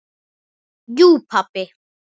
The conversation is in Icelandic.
Jú pabbi.